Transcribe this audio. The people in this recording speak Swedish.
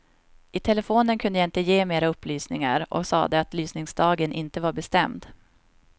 I telefonen kunde jag inte ge mera upplysningar och sade att lysningsdagen inte var bestämd.